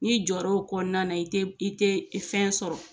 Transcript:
N'i jɔra o kɔnɔna i tɛ i tɛ fɛn sɔrɔ